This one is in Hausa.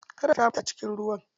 Kadar ta mutu a cikin ruwa.